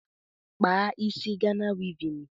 Kpaa isi Ghana wivin